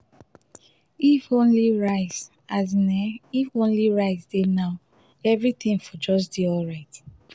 if only rice um um if only rice dey now everything for just dey alright